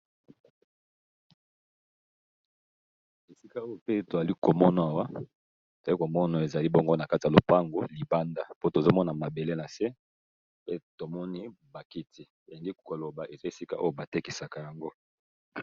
esika oyo pe toli komona awa toyali komono awa ezali bongo na kati ya lopango libanda po tozomona mabele na se pe tomoni bakiti eyingi koloba eza esika oyo batekisaka yango